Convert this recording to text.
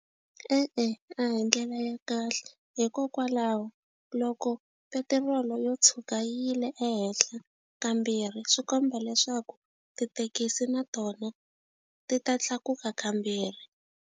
E-e, a hi ndlela ya kahle hikokwalaho loko petirolo yo tshuka yile ehenhle kambirhi swi komba leswaku tithekisi na tona ti ta tlakuka kambirhi.